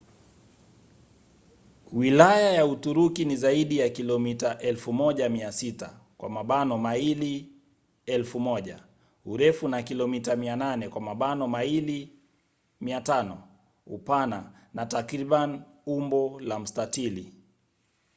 wilaya ya uturuki ni zaidi ya kilomita 1,600 maili 1,000 urefu na kilomita 800 maili 500 upana na takriban umbo la mstatili